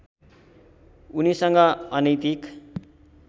उनीसँग अनैतिक